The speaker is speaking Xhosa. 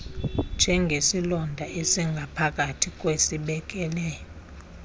njengesilonda esingaphakathi kwisibeleko